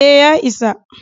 E, ya isa.